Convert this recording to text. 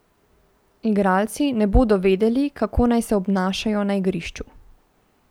Igralci ne bodo vedeli, kako se naj obnašajo na igrišču.